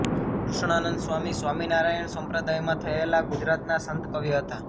કૃષ્ણાનંદ સ્વામી સ્વામિનારાયણ સંપ્રદાયમાં થયેલાં ગુજરાતનાં સંત કવિ હતાં